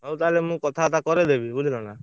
ଓହୋ ହଉ ତାହେଲେ ମୁଁ କଥାବାର୍ତା କରେଇଦେବି ବୁଝିଲନା।